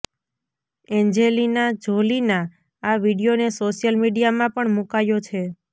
Angelina જોલીના આ વીડિયોને સોશિયલ મીડિયામાં પણ મુકાયો છે